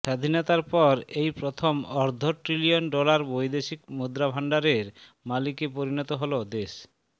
স্বাধীনতার পর এই প্রথম অর্ধ ট্রিলিয়ন ডলার বৈদেশিক মুদ্রাভান্ডারের মালিকে পরিণত হল দেশ